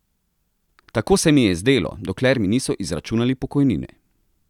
Tako se mi je zdelo, dokler mi niso izračunali pokojnine.